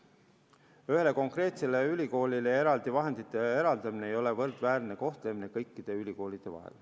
Ühele konkreetsele ülikoolile eraldi vahendite eraldamine ei ole kõikide ülikoolide võrdväärne kohtlemine.